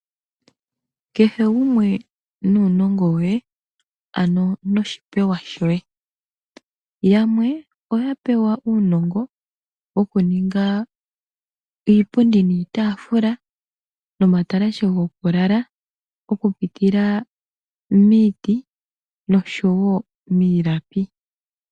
Kehe gumwe nuunongo we, ano noshipewa shoye. Yamwe oya pewa uunongo wokuninga iipundi niitafula, nomatalashe gokulala okupitila miiti noshowo miilapi.